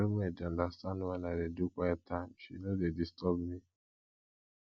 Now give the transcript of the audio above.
my roommate dey understand wen i dey do quiet time she no dey disturb me